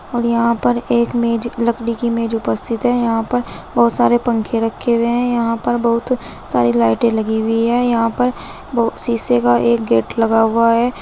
और यहां पर एक मेज लकड़ी की मेज उपस्थित है यहां पर बहुत सारे पंखे रखे हुए हैं यहां पर बहुत सारे लाइटें लगी हुई है यहां पर शीशे का एक गेट लगा हुआ है।